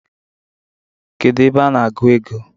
Kedu ebe a na-agụ ego?